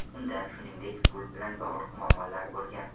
Unda, shuningdek, pul bilan bog‘liq muammolar bo‘lgan.